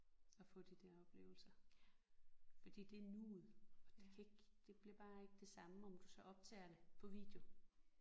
At få de der oplevelser fordi det er nuet og det kan ikke det bliver bare ikke det samme om du så optager det på video